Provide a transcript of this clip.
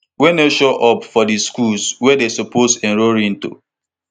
wey no show up for di schools wey dey suppose enrol into